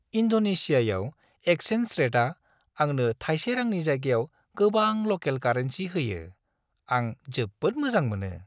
इन्ड'नेशियायाव exchange रेटआ आंनो थायसे रांनि जायगायाव गोबां ल'केल कारेन्सि होयो, आं जोबोद मोजां मोनो।